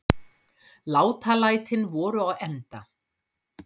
Látalætin voru á enda.